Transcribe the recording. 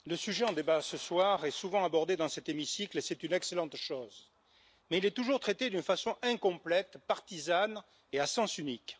Monsieur le Président, le sujet en débat ce soir est souvent abordé dans cet hémicycle et c'est une excellente chose. Mais il est toujours traité d'une façon incomplète, partisane et à sens unique.